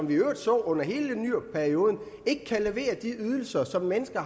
vi i øvrigt så under hele nyrupperioden ikke kan levere de ydelser som mennesker